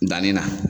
Danni na